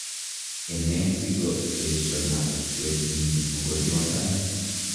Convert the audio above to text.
ene sigo esho-o lakwetnyin mogoryondani